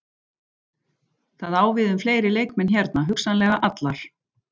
Það á við um fleiri leikmenn hérna, hugsanlega allar.